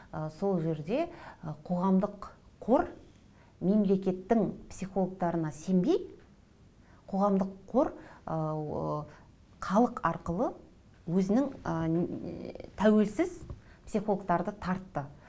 ы сол жерде қоғамдық қор мемлекеттің психологтарына сенбей қоғамдық қор халық арқылы өзінің тәуелсіз психологтарды тартты